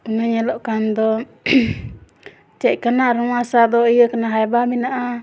नेलो कांद चेकल ना सा ने एहो नामों --